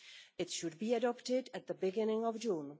It should be adopted at the beginning of June.